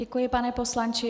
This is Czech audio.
Děkuji, pane poslanče.